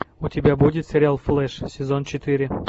у тебя будет сериал флэш сезон четыре